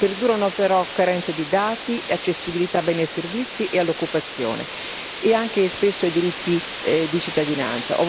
Perdurano però carenze di dati e di accessibilità a beni e servizi e all'occupazione nonché spesso ai diritti di cittadinanza.